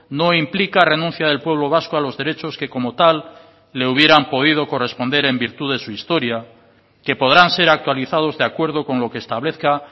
no implica renuncia del pueblo vasco a los derechos que como tal le hubieran podido corresponder en virtud de su historia que podrán ser actualizados de acuerdo con lo que establezca